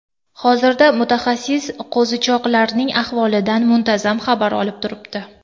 Hozirda mutaxassis qo‘zichoqlarning ahvolidan muntazam xabar olib turibdi.